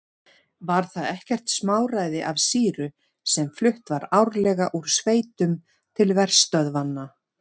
Var það ekkert smáræði af sýru sem flutt var árlega úr sveitum til verstöðvanna.